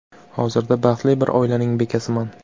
Hozirda baxtli bir oilaning bekasiman.